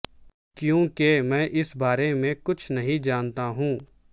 کیونکہ میں اس بارے میں کچھ نہیں جانتا ہوں